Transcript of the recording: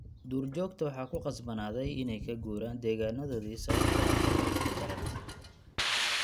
Duurjoogta waxaa ku khasbanaaday inay ka guuraan deegaanadoodii sababtoo ah kuleylka daran.